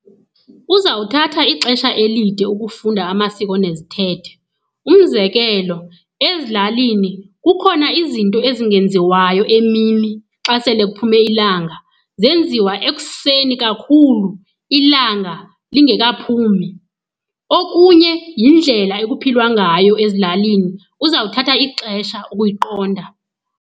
Uzawuthatha ixesha elide ukufunda amasiko nezithethe. Umzekelo, ezilalini kukhona izinto ezingenziwayo emini xa sele kuphume ilanga, zenziwa ekuseni kakhulu ilanga lingekaphumi. Okunye yindlela ekuphilwa ngayo ezilalini, uzawuthatha ixesha ukuyiqonda.